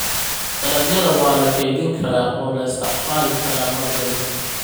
Dalagyada waa la kaydin karaa oo la isticmaali karaa mar dambe.